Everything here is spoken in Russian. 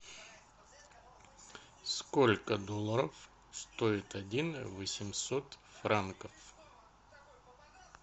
сколько долларов стоит один восемьсот франков